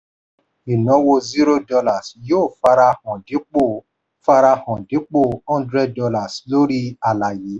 ìnáwó zero dollar yóò farahàn dípò farahàn dípò hundred dollars lórí àlàyé.